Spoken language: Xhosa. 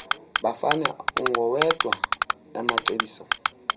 bafane ungowedwa amacebiso